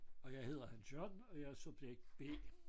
Og jeg hedder Hans Jørgen og jeg er subjekt B